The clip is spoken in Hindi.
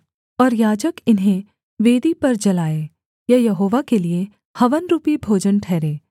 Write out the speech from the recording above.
और याजक इन्हें वेदी पर जलाए यह यहोवा के लिये हवन रूपी भोजन ठहरे